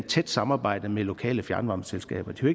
tæt samarbejde med lokale fjernvarmeselskaber det kan